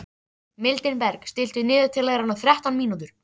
Mildinberg, stilltu niðurteljara á þrettán mínútur.